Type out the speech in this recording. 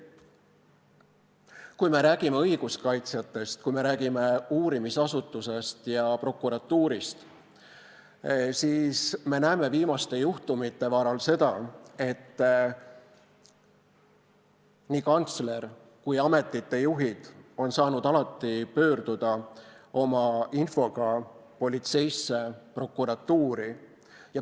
Kui me räägime õiguskaitsjatest, kui me räägime uurimisasutusest ja prokuratuurist, siis me näeme viimaste juhtumite varal seda, et nii kantsler kui ka ametite juhid on saanud alati pöörduda oma infoga politseisse ja prokuratuuri.